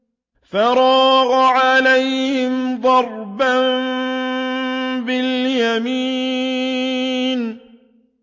فَرَاغَ عَلَيْهِمْ ضَرْبًا بِالْيَمِينِ